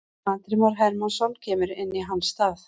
Andri Már Hermannsson kemur inn í hans stað.